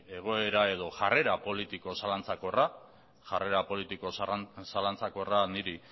egoera edo jarrera politiko zalantzakorra jarrera politiko zalantzakorra niri